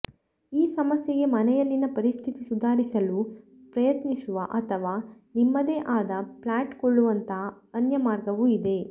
ಈ ಸಮಸ್ಯೆಗೆ ಮನೆಯಲ್ಲಿನ ಪರಿಸ್ಥಿತಿ ಸುಧಾರಿಸಲು ಪ್ರಯತ್ನಿಸುವ ಅಥವಾ ನಿಮ್ಮದೇ ಆದ ಫ್ಲಾಟ್ ಕೊಳ್ಳುವಂಥ ಅನ್ಯ ಮಾರ್ಗವೂ ಇದೆ